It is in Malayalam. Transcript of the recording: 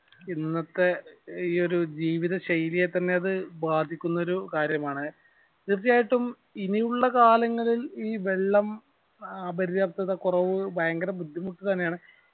ഇന്നത്തെ ഈ ഒരു ജീവിത ശൈലിയെ തന്നെ അത് ബാധിക്കുന്ന ഒരു കാര്യമാണ് തീർച്ചയായിട്ടും ഇനിയുള്ള കാലങ്ങളിൽ ഈ വെള്ളം അപര്യപ്തത കൊറവ് ഭയങ്കര ബുദ്ധിമുട്ട് തന്നെയാണ്